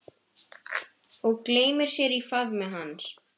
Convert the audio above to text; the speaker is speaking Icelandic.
Og gleymir sér í faðmi hans.